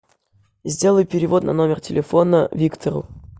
сделай перевод на номер телефона виктору